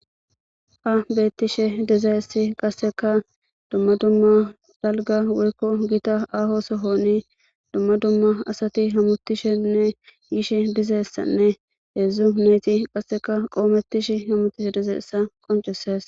Ha beettishe dizaesi qasseka dumma dumma dalga woykko giita aho sohoni dumma dumma asati hamutishenne yishe dizessanne heedzdzu neeti qasseka qoomettish hamutishe dizeeesa qoncesees.